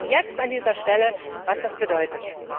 Wir merken jetzt an dieser Stelle, was das bedeutet.